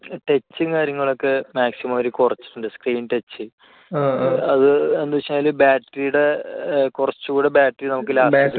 touch ഉം കാര്യങ്ങളും ഒക്കെ maximum അവര് കുറച്ചിട്ടുണ്ട്. screen touch. അത് എന്താണെന്ന് വെച്ചാൽ battery യുടെ കുറച്ചുകൂടി battery നമുക്ക് ലാഭം